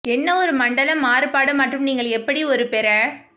என்ன ஒரு மண்டலம் மாறுபாடு மற்றும் நீங்கள் எப்படி ஒரு பெற